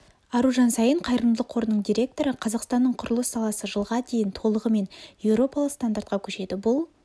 аружан саин қайырымдылық қорының директоры қазақстанның құрылыс саласы жылға дейін толығымен еуропалық стандартқа көшеді бұл